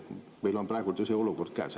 Meil on praegu ju see olukord käes.